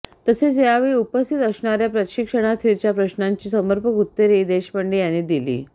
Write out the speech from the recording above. तसेच यावेळी उपस्थित असणाऱया प्रशिक्षणार्थींच्या प्रश्नांची समर्पक उत्तरेही देशपांडे यांनी दिली